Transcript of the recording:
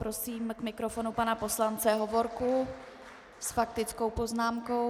Prosím k mikrofonu pana poslance Hovorku s faktickou poznámkou.